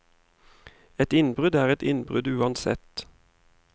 Et innbrudd er et innbrudd uansett.